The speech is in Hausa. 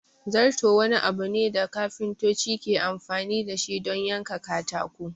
Zarto wani abu ne da kafintoci ke amfani dashi don yanka katako